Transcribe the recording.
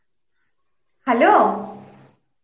hello